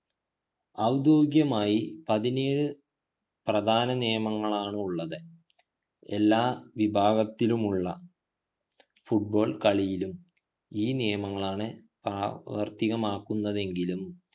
ഔദ്യോഗികമായി പതിനേഴ് പ്രധാന നിയമങ്ങളാണുള്ളത് എല്ലാ വിഭാത്തിലുള്ള football കളിയിലും ഈ നിയമങ്ങളാണ് പ്രവർത്തിക്കുന്നതെങ്കിലും